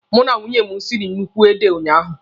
Mụ na nwunye m siri nnukwu ede unyaahụ.